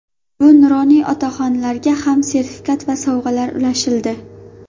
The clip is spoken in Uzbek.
Bu nuroniy otaxonlarga ham sertifikat va sovg‘alar ulashildi.